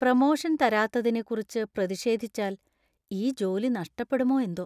Promotion‍ തരാത്തതിനെക്കുറിച്ച് പ്രതിഷേധിച്ചാല്‍ ഈ ജോലി നഷ്ടപ്പെടുമോ എന്തോ!